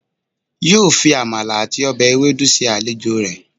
yóó fi Amala àti ọbẹ̀ ewedu se àlejò rẹ̀.